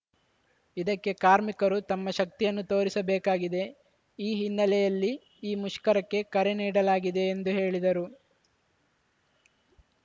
ಇದಕ್ಕೆ ಕಾರ್ಮಿಕರು ತಮ್ಮ ಶಕ್ತಿಯನ್ನು ತೋರಿಸಬೇಕಾಗಿದೆ ಈ ಹಿನ್ನೆಲೆಯಲ್ಲಿ ಈ ಮುಷ್ಕರಕ್ಕೆ ಕರೆ ನೀಡಲಾಗಿದೆ ಎಂದು ಹೇಳಿದರು